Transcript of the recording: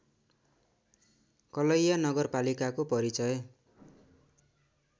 कलैया नगरपालिकाको परिचय